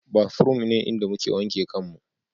Bathroom ne inda muke wanke kanmu